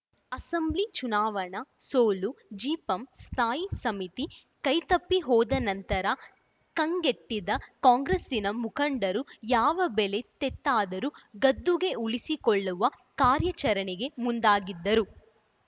assembly ಚುನಾವಣಾ ಸೋಲು ಜಿಪಂ ಸ್ಥಾಯಿ ಸಮಿತಿ ಕೈತಪ್ಪಿ ಹೋದ ನಂತರ ಕಂಗೆಟ್ಟಿದ್ದ ಕಾಂಗ್ರೆಸ್ಸಿನ ಮುಖಂಡರು ಯಾವ ಬೆಲೆ ತೆತ್ತಾದರೂ ಗದ್ದುಗೆ ಉಳಿಸಿಕೊಳ್ಳುವ ಕಾರ್ಯಾಚರಣೆಗೆ ಮುಂದಾಗಿದ್ದರು